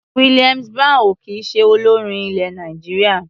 Williams Brown ò kì í ṣe olórin ilẹ̀ Nàìjíríà.